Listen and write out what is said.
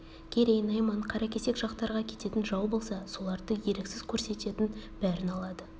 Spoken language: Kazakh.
керей найман қаракесек жақтарға кететін жау болса соларды еріксіз көрсететін бәрін алады